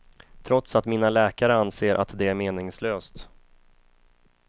Trots att mina läkare anser att det är meningslöst.